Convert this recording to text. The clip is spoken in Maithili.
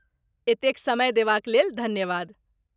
एतेक समय देबाक लेल धन्यवाद।